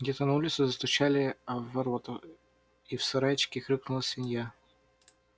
где-то на улице застучали в ворота и в сарайчике хрюкнула свинья